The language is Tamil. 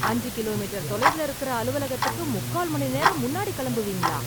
அஞ்சு கிலோ மீட்டர் தொலைவுல இருக்குற அலுவலகத்துக்கு முக்கால் மணி நேரம் முன்னாடி கெளம்புவீங்களா?